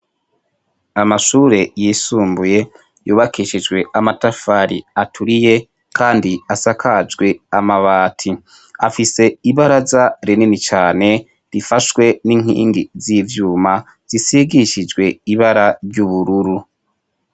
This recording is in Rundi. Amashuri yisumbuye yubakishijwe amatafari aturiye kandi asakajwe amabati, Afise ibaraza rinini cane rifashwe n'inkingi zi vyuma zisigishijwe ibara ry'ubururu.